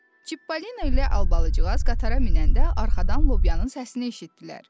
Çipollino ilə Albacıq qatara minəndə arxadan lobyanın səsini eşitdilər.